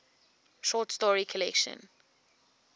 short story collection